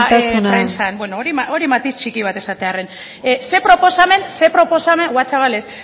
prentsan isiltasuna beno hori matiz txiki bat esatearren ze proposamen bua chaval ez